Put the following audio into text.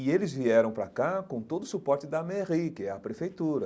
E eles vieram para cá com todo o suporte da Merri, que é a prefeitura.